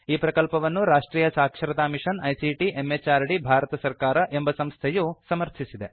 ಈ ಪ್ರಕಲ್ಪವನ್ನು ರಾಷ್ಟ್ರಿಯ ಸಾಕ್ಷರತಾ ಮಿಷನ್ ಐಸಿಟಿ ಎಂಎಚಆರ್ಡಿ ಭಾರತ ಸರ್ಕಾರ ಎಂಬ ಸಂಸ್ಥೆಯು ಸಮರ್ಥಿಸಿದೆ